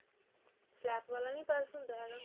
flap ਵਾਲਾ ਨੀ purse ਹੁੰਦਾ ਹੈਗਾ